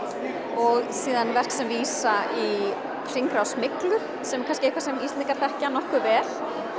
og síðan verk sem vísa í hringrás myglu sem er kannski eitthvað sem Íslendingar þekkja nokkuð vel